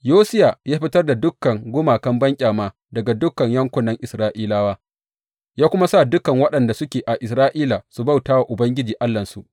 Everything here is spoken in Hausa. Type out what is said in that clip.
Yosiya ya fitar da dukan gumakan banƙyama daga dukan yankunan Isra’ilawa, ya kuma sa dukan waɗanda suke a Isra’ila su bauta wa Ubangiji Allahnsu.